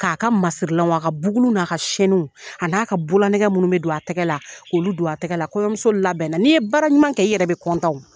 K'a ka masirilanw a ka bugulu n'a ka sɛniw a n'a ka bololaɛgɛ minnu bɛ don a tɛgɛ la k'olu don a tɛgɛ la kɔyɔmuso labɛnna n'i ye baara ɲuman kɛ i yɛrɛ bɛ kɔntanw